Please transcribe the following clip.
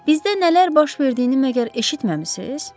Bizdə nələr baş verdiyini məgər eşitməmisiz?